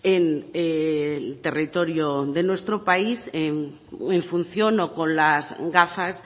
en el territorio de nuestro país en función o con las gafas